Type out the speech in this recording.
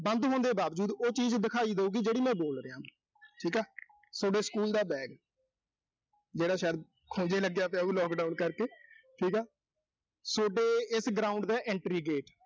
ਬੰਦ ਹੋਣ ਦੇ ਬਾਵਜੂਦ, ਉਹ ਚੀਜ਼ ਦਿਖਾਈ ਦੇਊਗੀ, ਜਿਹੜੀ ਮੈਂ ਬੋਲ ਰਿਹਾਂ। ਠੀਕ ਆ, ਸੋਡੇ school ਦਾ bag ਜਿਹੜਾ ਸ਼ਾਇਦ, ਖੂੰਜੇ ਲੱਗਿਆ ਪਿਆ ਹੋਊ, lockdown ਕਰਕੇ। ਠੀਕ ਆ। ਸੋਡੇ ਇਸ ground ਦਾ entry gate